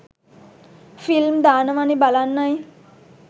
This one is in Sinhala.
ෆිල්ම් දානවනෙ බලන්නයි